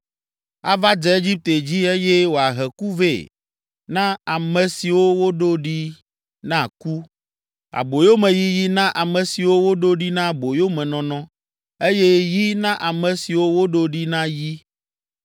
Ava dze Egipte dzi eye wòahe ku vɛ na ame siwo woɖo ɖi na ku, aboyomeyiyi na ame siwo woɖo ɖi na aboyomenɔnɔ eye yi na ame siwo woɖo ɖi na yi.